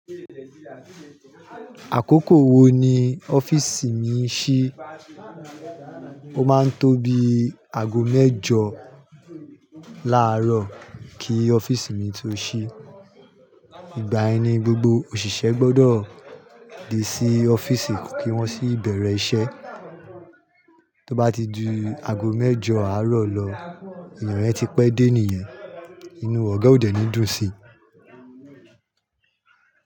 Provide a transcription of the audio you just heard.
Àkókò wo ni ọ́fíìsì mi ṣí? Ó máa ń tóbi aago mẹ́jọ láàárọ̀ kí ọ́fíìsì mi tó ṣí. Ìgbà yẹni gbogbo òṣìṣẹ́ gbọ́dọ̀ dé sí ọ́fíìsì kí wọ́n sì bẹ̀rẹ̀ iṣẹ́. Tí ó bá ti ju aago mẹ́jọ àárọ̀ lọ, ènìyàn yẹn ti pẹ́ dé nìyen. Inú ọ̀gá òdẹ ní dùn sí.